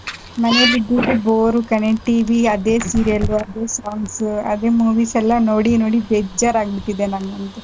ಮನೇಲಿ ಕೂತ್ರೆ ಬೋರು ಕಣೆ TV ಅದೇ serial ಅದೇ songs ಅದೇ movies ಎಲ್ಲ ನೋಡಿ ನೋಡಿ ಬೇಜಾರ್ ಆಗ್ಬಿಟ್ಟಿದೆ ನಂಗ್ ಅಂತು.